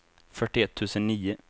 fyrtioett tusen nio